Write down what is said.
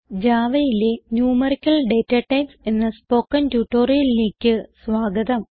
Javaയിലെ numeric data types എന്ന spoken ട്യൂട്ടോറിയലിലേക്ക് സ്വാഗതം